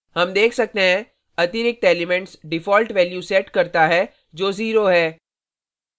हम देख सकते हैं अतिरिक्त elements default value set करता है जो 0 है